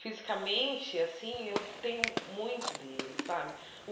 Fisicamente, assim eu tenho muito dele sabe.